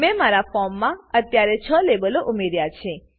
મેં મારા ફોર્મમાં અત્યારે છ લેબલો ઉમેર્યા છે